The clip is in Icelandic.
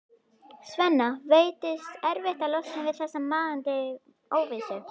Svenna veitist erfitt að losna við þessa nagandi óvissu.